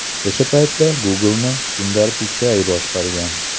O‘sha paytda Google’ni Sundar Pichai boshqargan.